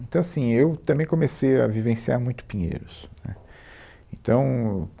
Então, assim, eu também comecei a vivenciar muito Pinheiros, né, Então